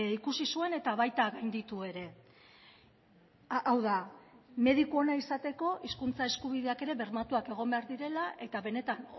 ikusi zuen eta baita gainditu ere hau da mediku ona izateko hizkuntza eskubideak ere bermatuak egon behar direla eta benetan